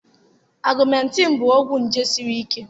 augmentine bụ ọgwụ nje siri ike